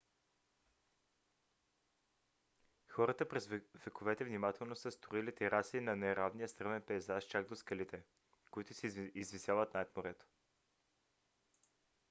хората през вековете внимателно са строили тераси на неравния стръмен пейзаж чак до скалите които се извисяват над морето